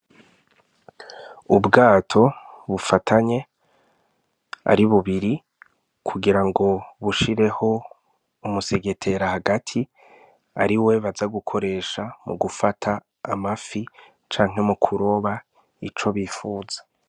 Ubwato bufatanye ari bubiri kugira ngo bushireho umusegetera hagati ari we baza gukoresha mu gufata amafi canke mu kuroba ico bifuza.